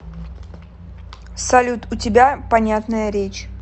салют у тебя понятная речь